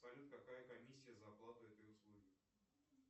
салют какая комиссия за оплату этой услуги